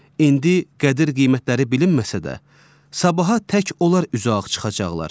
İndi qədir-qiymətləri bilinməsə də, sabaha tək onlar üzü ağ çıxacaqlar.